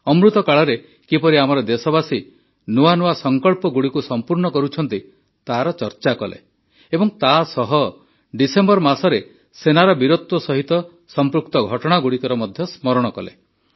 ଅମୃତ କାଳରେ କିପରି ଆମର ଦେଶବାସୀ ନୂଆ ନୂଆ ସଙ୍କଳ୍ପଗୁଡ଼ିକୁ ସଂପୂର୍ଣ୍ଣ କରୁଛନ୍ତି ତାର ଚର୍ଚା କଲେ ଏବଂ ତା ସହ ଡିସେମ୍ବର ମାସରେ ସେନାର ବୀରତ୍ୱ ସହିତ ସମ୍ପୃକ୍ତ ଘଟଣାଗୁଡ଼ିକର ମଧ୍ୟ ସ୍ମରଣ କଲେ